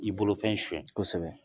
I bolofɛn sonya kosɛbɛ